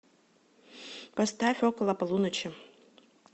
поставь около полуночи